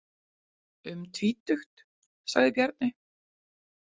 Um tvítugt, sagði Bjarni.